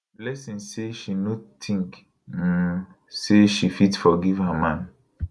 blessing say she no think um say she fit forgive her man